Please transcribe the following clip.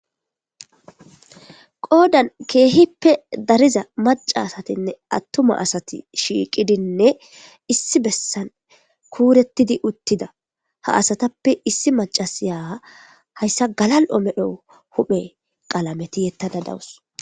Qodani kehipe dariza maca asatinee atuma asati shiqidine issi besan kuretidi utida ha asatape issi macasy haysa gala'o medho huphe tietada dawus